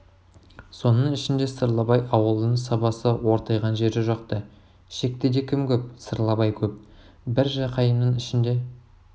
соның ішінде сырлыбай ауылының сабасы ортайған жері жоқ-ты шектіде кім көп сырлыбай көп бір жақайымның ішінде